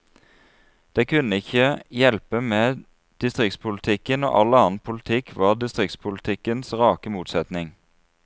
Det kunne ikke hjelpe med distriktspolitikken, når all annen politikk var distriktspolitikkens rake motsetning.